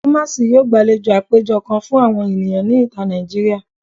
Kumasi yoo gbalejo apejọ kan fun awọn eniyan ni ita Naijiria